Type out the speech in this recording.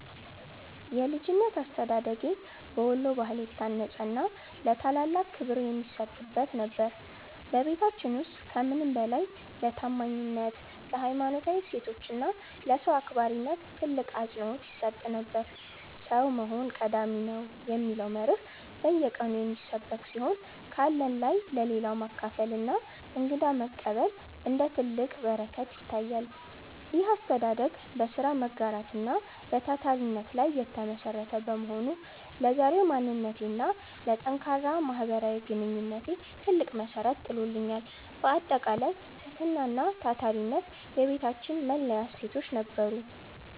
የልጅነት አስተዳደጌ በወሎ ባህል የታነጸና ለታላላቅ ክብር የሚሰጥበት ነበር። በቤታችን ውስጥ ከምንም በላይ ለታማኝነት፣ ለሀይማኖታዊ እሴቶች እና ለሰው አክባሪነት ትልቅ አፅንዖት ይሰጥ ነበር። "ሰው መሆን ቀዳሚ ነው" የሚለው መርህ በየቀኑ የሚሰበክ ሲሆን፣ ካለን ላይ ለሌለው ማካፈልና እንግዳ መቀበል እንደ ትልቅ በረከት ይታያል። ይህ አስተዳደግ በሥራ መጋራት እና በታታሪነት ላይ የተመሠረተ በመሆኑ፣ ለዛሬው ማንነቴና ለጠንካራ ማህበራዊ ግንኙነቴ ትልቅ መሠረት ጥሎልኛል። ባጠቃላይ፣ ትህትናና ታታሪነት የቤታችን መለያ እሴቶች ነበሩ።